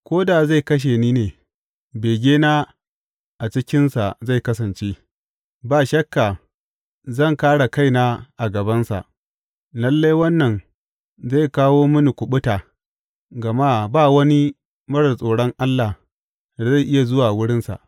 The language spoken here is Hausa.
Ko da zai kashe ni ne, begena a cikinsa zai kasance; ba shakka zan kāre kaina a gabansa lalle wannan zai kawo mini kuɓuta gama ba wani marar tsoron Allah da zai iya zuwa wurinsa!